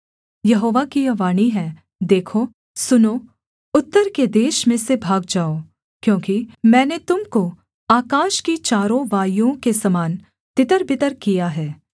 यहोवा की यह वाणी है देखो सुनो उत्तर के देश में से भाग जाओ क्योंकि मैंने तुम को आकाश की चारों वायुओं के समान तितरबितर किया है